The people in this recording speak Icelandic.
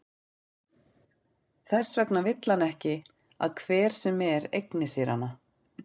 Þess vegna vill hann ekki að hver sem er eigni sér hana.